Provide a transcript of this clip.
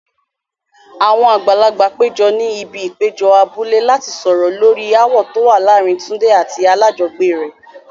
Àwọn àgbàlagbà péjọ ní ibi ìpéjọ abúlé láti sọ̀rọ̀ lórí ááwọ̀ tó wà láàárín Tunde àti alájọgbélé rẹ̀.